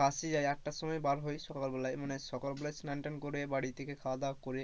বাসে যায় আটটার সময় বার হয় সকাল বেলায় মানে সকাল বেলায় স্নান টান করে বাড়ি থেকে খাওয়া-দাওয়া করে,